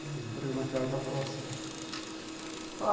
Comprei uma casa próxima.